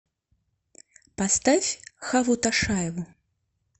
поставь хаву ташаеву